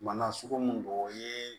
Mana sugu mun don o ye